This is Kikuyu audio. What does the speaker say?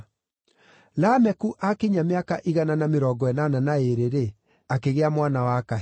Lameku aakinyia mĩaka igana na mĩrongo ĩnana na ĩĩrĩ-rĩ, akĩgĩa mwana wa kahĩĩ.